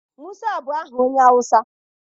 Musa bụ aha onye Awụsa.